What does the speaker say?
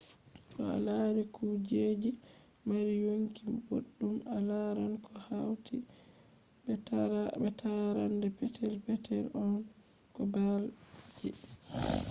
to a lari kujeji je mari yonki boddum a laran ko hauti be tarrande petel petel on ko ball ji